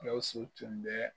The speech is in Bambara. Gawusu tun bɛ